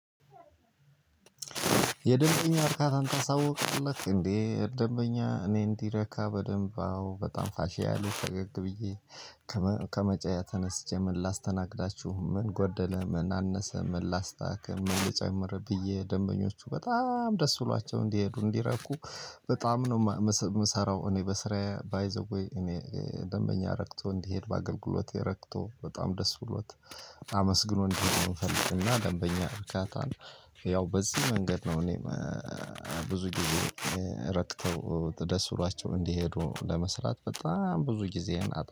የደንበኛ እርካታን ታሳውቃለህ እንዴ ደንበኛ እኔ እንዲረካ በደንብ አዎ በጣም ፋሺያሊይ ፈገግ ብዬ ከመቀመጫየ ተነስቼ ምን ላስተናግዳችሁ ምን ጎደለ ምን አነሰ ምን ላስተካክል ምን ልጨምር ብዬ ደንበኞቹ በጣም ደስ ብሏቸው እንዲሄዱ እንዲረኩ በጣም ነው የምሰራው። እኔ በስራዬ ባይ ዘ ዌይ እኔ ደንበኛ ረክቶ እንዲሄድ በአገልግሎቴ ረክቶ በጣም ደስ ብሎት አመስግኖ እንዲሄድ ነው። እምንፈልግና ደንበኛ እርካታን ያው በዚህ መንገድ ነው። እኔ ብዙ ጊዜ ረክተው ደስ ብሏቸው እንዲሄዱ ለመስራት በጣም ብዙ ጊዜህን